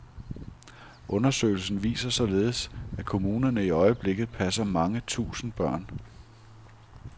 Undersøgelsen viser således, at kommunerne i øjeblikket passer mange tusind børn.